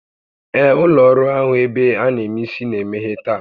Ee, ụlọ ọrụ ahụ ebe a na eme isi na-emeghe taa